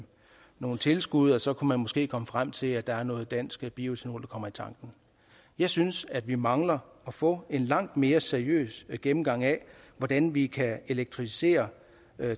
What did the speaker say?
nogle tilskud og så kunne man måske komme frem til at der er noget dansk bioetanol der kommer i tanken jeg synes at vi mangler at få en langt mere seriøs gennemgang af hvordan vi kan elektrificere